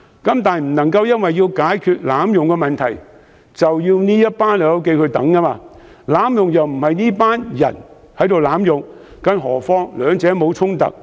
但是，政府不能因為要解決濫用"綠卡"的問題，便要"老友記"苦等，他們並非濫用"綠卡"的人，更何況兩者並無衝突。